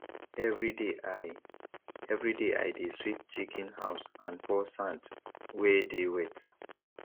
everyday i everyday i dey sweep chicken house and pour sand wey dey wet